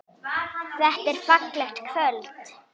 Þetta er fallegt kvöld.